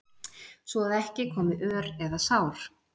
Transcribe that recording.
svo að ekki komi ör eða sár.